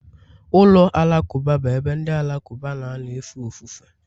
ụlọ alakụba bụ ebe ndị Alakụba na-anọ efe ofufe.